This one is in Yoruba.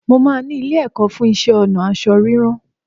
Mo máa ni ilé-ẹ̀kọ́ fú iṣẹ́-ọnà ásọ rírán